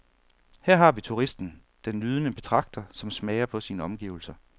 Her har vi turisten, den nydende betragter, som smager på sine omgivelser.